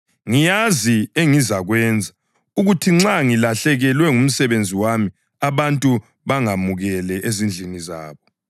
Ngiyazi engizakwenza ukuthi nxa ngilahlekelwa ngumsebenzi wami abantu bangamukele ezindlini zabo.’